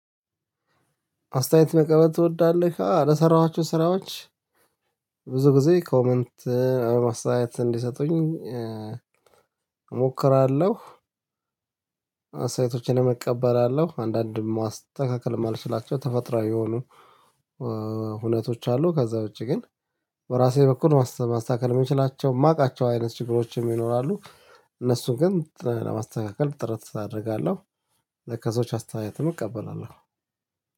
አስተያየት መቀበል ትወዳለህ? አው ለሰራዋቸው ስራዎች ብዙ ጊዜ ኮመንት አስተያየት እንዲሰጡኝ እሞክራለሁ። አስተያየቶችን እቀበላለሁ አንዳንድ ማስተካከል የማልችላቸው ተፈጥሯዊ የሆኑ ሁነቶች አሉ። ከዛ ውጪ ግን በራሴ በኩል ማስተካከል የምችላቸው የማውቃቸው አይነት ችግሮችም ይኖራሉ እነሱን ግን ለማስተካከል ጥረት አደርጋለሁ። ከሰዎች አስተያየትም እቀበላለሁ